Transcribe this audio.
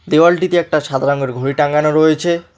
দেয়ালটিতে একটি সাদা রঙের ঘড়ি টাঙানো রয়েছে।